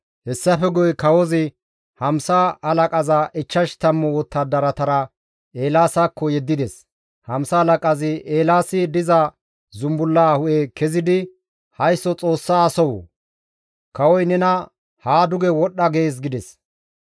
Hessafe guye kawozi hamsa halaqaza ichchash tammu wottadaratara Eelaasakko yeddides. Hamsa halaqazi Eelaasi diza zumbulla hu7e kezidi, «Haysso Xoossa asoo! Kawoy nena haa duge wodhdha gees» gides.